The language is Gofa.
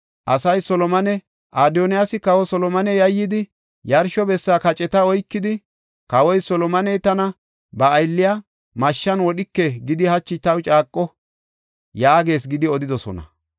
Asay Solomone, “Adoniyaasi Kawa Solomone yayyidi, yarsho bessa kaceta oykidi, ‘Kawoy Solomoney tana ba aylliya mashshan wodhike gidi hachi taw caaqo’ ” yaagees gidi odidosona.